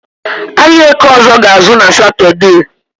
Ahịa Eke ọzọ ga-ázụ́ na Satọde